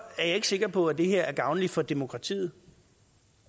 jeg ikke sikker på at det her er gavnligt for demokratiet